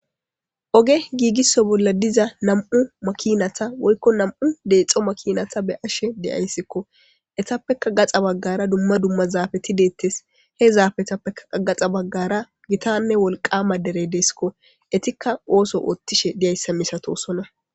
oge giigisso bolla diza nam7u makinata woykko nam7u deexo makinata be ashe deyayssikko etappeka gaxa baggara dumma dumma zaafeti deettes he zaafetappeka gaxa baggara gitanne wolqama dere deesikko etikka ooso oottishe deyayssa misatosona